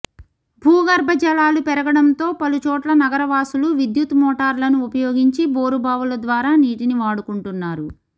భూగర్భ జలాలు పెరగడంతో పలు చోట్ల నగర వాసులు విద్యుత్ మోటార్లను ఉపయోగించి బోరు బావుల ద్వారా నీటిని వాడుకుంటున్నారు